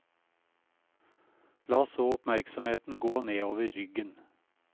La så oppmerksomheten gå nedover ryggen.